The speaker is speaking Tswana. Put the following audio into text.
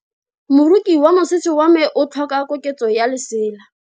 Moroki wa mosese wa me o tlhoka koketso ya lesela.